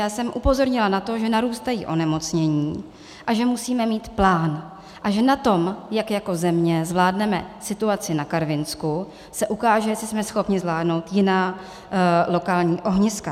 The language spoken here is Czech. Já jsem upozornila na to, že narůstají onemocnění a že musíme mít plán a že na tom, jak jako země zvládneme situaci na Karvinsku, se ukáže, jestli jsme schopni zvládnout jiná lokální ohniska.